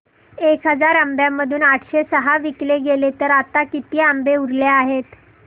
एक हजार आंब्यांमधून आठशे सहा विकले गेले तर आता किती आंबे उरले आहेत